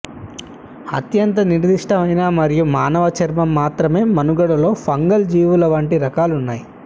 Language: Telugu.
అత్యంత నిర్దిష్టమైన మరియు మానవ చర్మం మాత్రమే మనుగడలో ఫంగల్ జీవుల వంటి రకాలున్నాయి